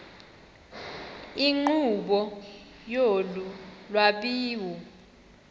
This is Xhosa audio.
nkqubo yolu lwabiwo